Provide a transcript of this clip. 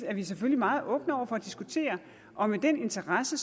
er vi selvfølgelig meget åbne over for at diskutere og med den interesse